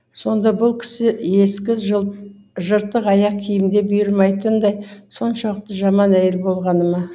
сонда бұл кісі ескі жыртық аяқ киімде бұйырмайтындай соншалықты жаман әйел болғаныма